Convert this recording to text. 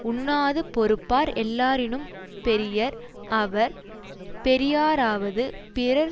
உண்ணாது பொறுப்பார் எல்லாரினும் பெரியர் அவர் பெரியாராவது பிறர்